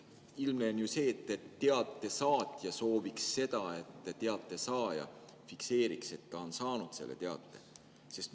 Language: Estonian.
Ilmne on ju see, et teate saatja sooviks seda, et teate saaja fikseeriks, et ta on selle teate kätte saanud.